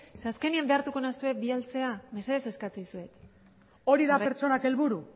zeren eta azkenean behartuko nauzue bidaltzea mesedez eskatzen dizuet hori da pertsonak helburu